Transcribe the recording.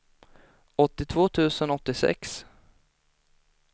åttiotvå tusen åttiosex